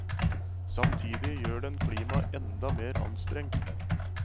Samtidig gjør den klimaet enda mer anstrengt.